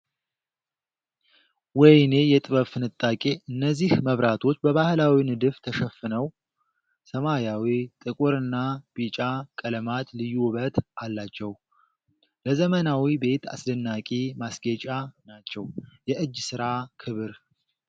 ወይኔ የጥበብ ፍንጣቂ! እነዚህ መብራቶች በባህላዊ ንድፍ ተሸፍነው! ሰማያዊ፣ ጥቁርና ቢጫ ቀለማት ልዩ ውበት አላቸው! ለዘመናዊ ቤት አስደናቂ ማስጌጫ ናቸው! የእጅ ሥራ ክብር!